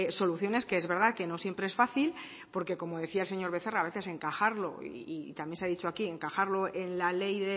soluciones que es verdad que no siempre es fácil porque como decía el señor becerra a veces encajarlo y también se ha dicho aquí encajarlo en la ley